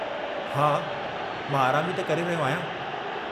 हा, मां आराम ई त करे रहियो आहियां।